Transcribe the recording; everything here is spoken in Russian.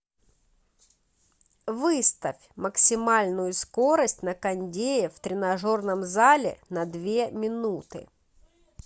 выставь максимальную скорость на кондее в тренажерном зале на две минуты